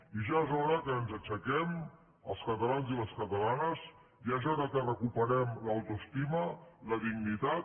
i ja és hora que ens aixequem els catalans i les catalanes ja és hora que recuperem l’autoestima la dignitat